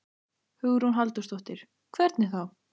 Hugrún Halldórsdóttir: Hvernig þá?